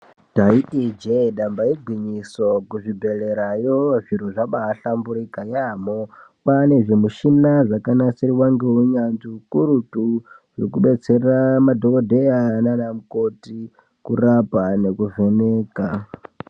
Taiti injee damba igwinyiso kuzvibhehlera yo zviro zvabaahlamburika yaampho, kwaane zvimushina zvakanasirwa ngeunyanzvi hukurutu zvekudetsera madhokodheya nana mukoti kurapa nekuvheneka.